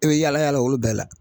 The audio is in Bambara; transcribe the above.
E bi yaala yaala olu bɛɛ la.